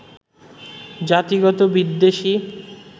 জাতিগত বিদ্বেষই